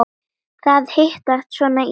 Það hittist svona illa á.